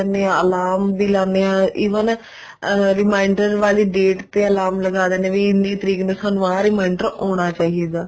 ਲੈਣੇ ਹਾਂ alarm ਵੀ ਲਗਾਉਂਦੇ ਹਾਂ even reminder ਵਲੀ date ਤੇ alarm ਲਗਾ ਦਿੰਨੇ ਹਾਂ ਵੀ date ਨੂੰ ਸਾਨੂੰ ਆਹ reminder ਆਉਣਾ ਚਾਹੀਦਾ